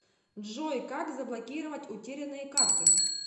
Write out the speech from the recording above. джой как заблокировать утерянные карты